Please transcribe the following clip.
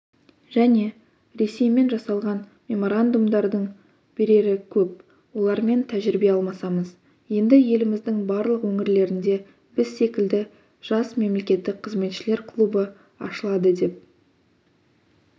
және ресеймен жасалған меморандумдардың берері көп олармен тәжірибе алмасамыз енді еліміздің барлық өңірлерінде біз секілді жас мемлекеттік қызметшілер клубы ашылады деп